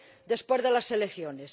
después de las elecciones.